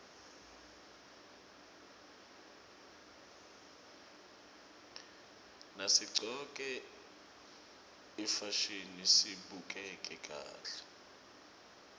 nasiqcoke ifasihni sibukeka kahle